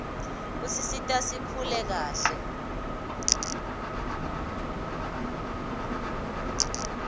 kusisita sikhule kahle